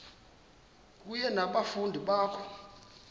kunye nabafundi bakho